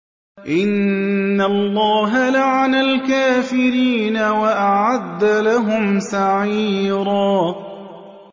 إِنَّ اللَّهَ لَعَنَ الْكَافِرِينَ وَأَعَدَّ لَهُمْ سَعِيرًا